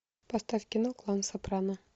поставь кино клан сопрано